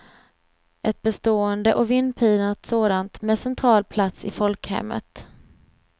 Ett bestående och vindpinat sådant, med central plats i folkhemmet.